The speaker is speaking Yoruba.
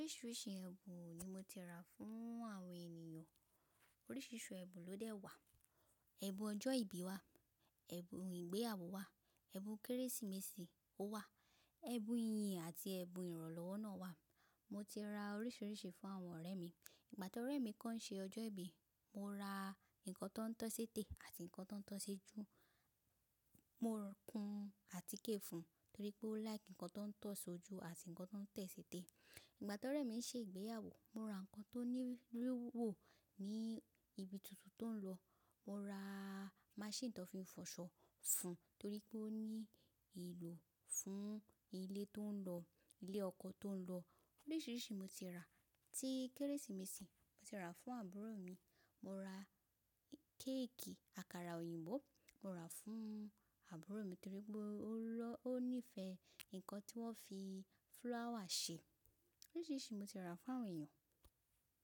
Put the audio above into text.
Oríṣiríṣi ẹ̀bùn ni mo ti rà fún àwọn ènìyàn. Oríṣiríṣi ẹ̀bùn ló dẹ́ wà. Ẹ̀bùn ọjọ́ ìbí wà, ẹ̀bùn ìgbéyàwó wà, ẹ̀bùn Kérésìmesì ó wà, ẹ̀bùn ìyìn àti ẹ̀bùn ìrànlọ́wọ́ náà wà. Mo ti ra oríṣiríṣi fún àwọn ọ̀rẹ́ mi. Ìgbà tí ọ̀rẹ́ mi kan ń ṣe ọjọ́ ìbí, mo ra ǹkan tó ń tọ́ séte àti ǹkan tó ń tọ́ ṣejú. Mo rọkun àtíkè fún un torí pé ó like ǹkan tó ń tọ́ ṣojú àti ǹkan tó ń tẹ́ séte. Ìgbà tí ọ̀rẹ́ mi ń ṣe ìgbéyàwó, mo ra ǹkan tó ní wíwò ní ibi tuntun tó ń lọ. Mo ra máṣínì tó fi ń fọṣọ fún un torí pé ó ní ìlò fún ilé tó ń lọ, ilé ọkọ tó ń lọ. Oríṣiríṣi mo ti rà. Tí Kérésìmesì, mo ti rà fún àbúrò mi. Mo ra kéèkì àkàrà òyìnbó, mo rà fún àbúrò mi torí pé ó níífe ǹkan tí wọ́n fi fúláwà ṣe. Oríṣiríṣi mo ti rà fún àwọn èèyàn.